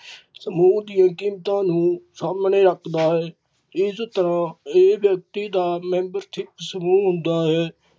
ਸਮੂਹ ਦੀਆ ਕੀਮਤਾਂ ਨੂੰ ਸਾਹਮਣੇ ਰੱਖ ਦਾ ਹੈ ਇਸ ਤਰਾਂ ਏਹ ਵਿਅਕਤੀ ਦਾ membership ਸਮੂਹ ਹੁੰਦਾ ਹੈ